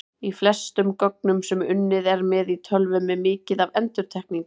Í flestum gögnum sem unnið er með í tölvum er mikið af endurtekningum.